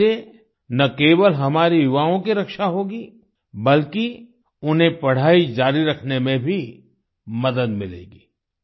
इससे न केवल हमारे युवाओं की रक्षा होगी बल्कि उन्हें पढाई जारी रखने में भी मदद मिलेगी